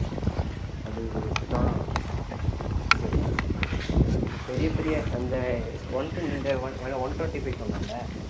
அது இது இதுதான் பிரச்சனை இப்போ பெரிய பெரிய அந்த one ten இந்த on~ one twenty-five சொன்னான்ல